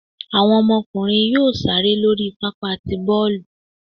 Awọn ọmọkunrín yóò ṣere lori pápá tí bọọlu